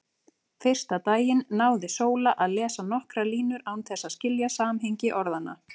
Fyrsta daginn náði Sóla að lesa nokkrar línur án þess að skilja samhengi orðanna.